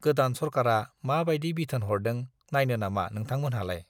गोदान सरकारा मा बाइदि बिथोन हरदों नाइनो नामा नोंथांमोनहालाय?